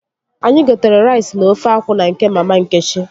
Anyị gotere rais na ofe akwụ na nke mama Nkechi